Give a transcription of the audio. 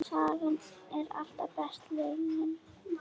Sagan er alltaf besta leiðin.